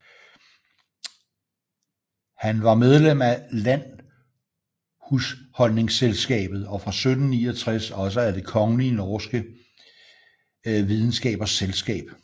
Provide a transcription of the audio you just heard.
Han var medlem af Landhusholdningsselskabet og fra 1769 også af Det Kongelige Norske Videnskabers Selskab